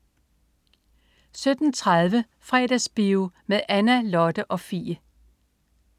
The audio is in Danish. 17.30 Fredagsbio med Anna, Lotte og Fie